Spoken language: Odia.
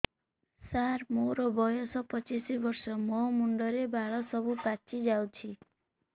ସାର ମୋର ବୟସ ପଚିଶି ବର୍ଷ ମୋ ମୁଣ୍ଡରେ ବାଳ ସବୁ ପାଚି ଯାଉଛି